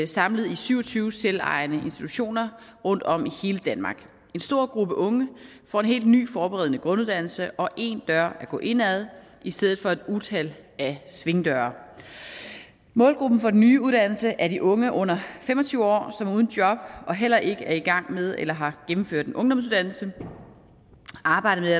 samlet i syv og tyve selvejende institutioner rundtom i hele danmark en stor gruppe unge får en helt ny forberedende grunduddannelse og én dør at gå ind ad i stedet for et utal af svingdøre målgruppen for den nye uddannelse er de unge under fem og tyve år som er uden job og heller ikke er i gang med eller har gennemført en ungdomsuddannelse arbejdet